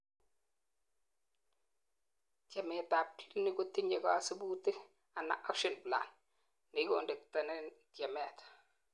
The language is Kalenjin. tyemet ab clinic kotinyei kosibutik ana action plan, nekiconductenen tyemet